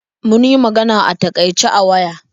Mun yi magana a takaice a waya.